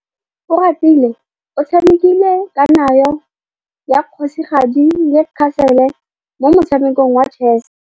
Oratile o tshamekile kananyô ya kgosigadi le khasêlê mo motshamekong wa chess.